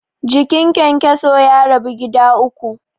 Jikin kyankyaso ya rabu gida uku.